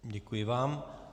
Děkuji vám.